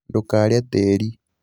ndũkarĩe tĩĩri